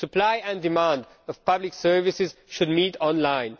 Supply and demand of public services should meet online.